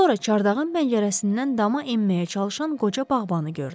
Sonra Çardağın bəncərəsindən dama enməyə çalışan qoca bağbanı gördü.